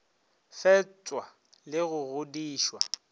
fepša le go go godišwa